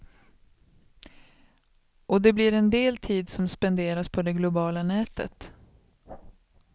Och det blir en del tid som spenderas på det globala nätet.